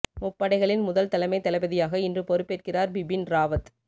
முப்படைகளின் முதல் தலைமை தளபதியாக இன்று பொறுப்பேற்கிறார் பிபின் ராவத்